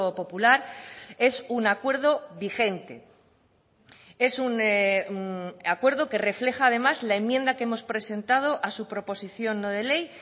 popular es un acuerdo vigente es un acuerdo que refleja además la enmienda que hemos presentado a su proposición no de ley